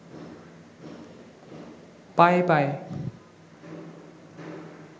পায়ে পায়ে